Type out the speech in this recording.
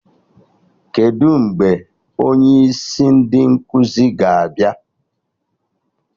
Kedụ mgbe onye isi ndị nkụzi ga-abịa?